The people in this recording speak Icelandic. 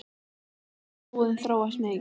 Samt hefur búðin þróast mikið.